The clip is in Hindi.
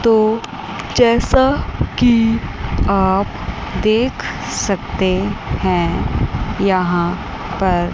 तो जैसा कि आप देख सकते हैं यहां पर--